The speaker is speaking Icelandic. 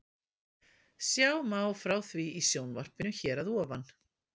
Sjá má frá því í sjónvarpinu hér að ofan.